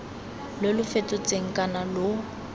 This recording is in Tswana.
lo lo fetotsweng kana lo